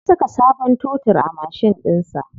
Ya saka sabon totur a mashin ɗinsa.